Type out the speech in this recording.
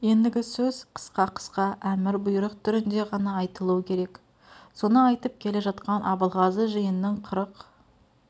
ендігі сөз қысқа-қысқа әмір бұйрық түрінде ғана айтылу керек соны айтып келе жатқан абылғазы жиының қырық